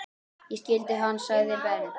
Ég skildi hann! segir Ben.